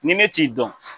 Ni ne t'i dɔn